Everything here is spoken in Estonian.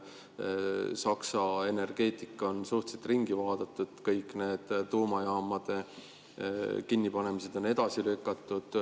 Saksa energeetika on suhteliselt ringi, kõik need tuumajaamade kinnipanemised on edasi lükatud.